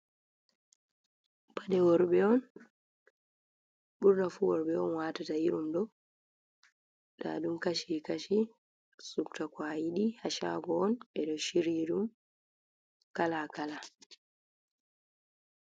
Pade worbe on, burnafu worbe on watata irum do, ndadum kashi kashi, subta kwa ayidi ha shago on be do shirri dum kala kala.